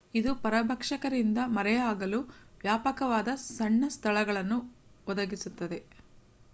ಇದು ಪರಭಕ್ಷಕರಿಂದ ಮರೆಯಾಗಲು ವ್ಯಾಪಕವಾದ ಸಣ್ಣ ಸ್ಥಳಗಳನ್ನು ಒದಗಿಸುತ್ತದೆ